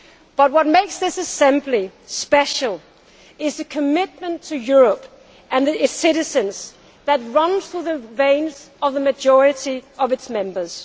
But what makes this assembly special is the commitment to Europe and its citizens that runs through the veins of the majority of its members.